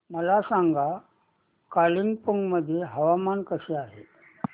मला सांगा कालिंपोंग मध्ये हवामान कसे आहे